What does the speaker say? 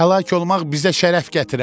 Həlak olmaq bizə şərəf gətirər!